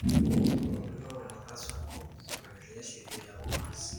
wakulima wanapaswa kufuatilia sheria ya upanzi